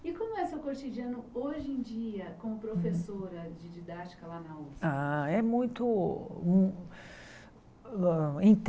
E como é seu cotidiano hoje em dia, como professora de didática lá na Usp? Ah é muito mu hã